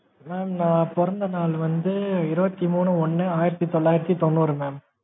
mam நான் பொறந்த நாள் வந்து, இருபத்தி மூணு ஒன்னு ஆயிரத்தி தொளாயிரத்தி தொண்ணூறு mam